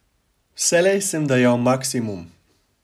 Vselej sem dajal maksimum.